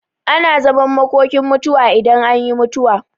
Ana zaman makokin mutuwa idan an yi mutuwa.